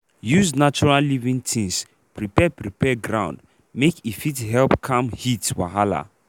use natural living tins prepare prepare ground make e fit help calm heat wahala.